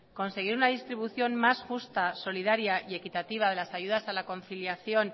conseguir una distribución más justa solidaria y equitativa de las ayudas a la conciliación